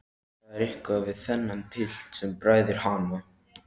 Það er eitthvað við þennan pilt sem bræðir hana.